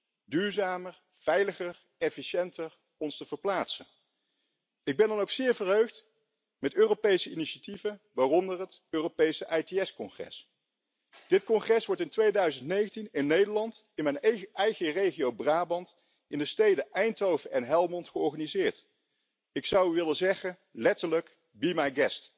territoriales, la necesidad de vertebrar el territorio rural, ingeniar nuevas formas de transporte colectivo. Y no hablamos de la falsa economía colaborativa, hablamos de formas de transporte público, para que el transporte sirva para nutrir el ámbito territorial y no para despoblarlo. Y, desde luego, las zonas urbanas son los lugares donde más se concentran las emisiones de CO2 y es necesario y urgente apostar